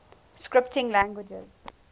scripting languages